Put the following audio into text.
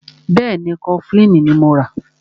Bẹ́ẹ̀ni, Kọfilínì ní mọ rà.